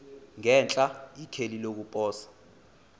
ngenhla ikheli lokuposa